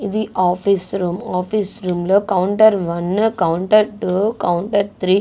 ఇది office room. Office room లో counter one counter two counter three --